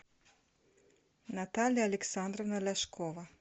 наталья александровна ляшкова